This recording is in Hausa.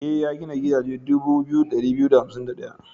E, ya gina gidaje dubu 2251.